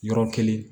Yɔrɔ kelen